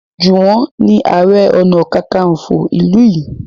Juwon ni aré ọnà kankanfo ilú yí.